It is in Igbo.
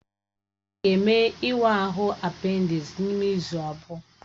Ọ ga-eme ịwa ahụ apendisi n'ime izu abụọ